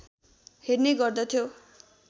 हेर्ने गर्दथ्यो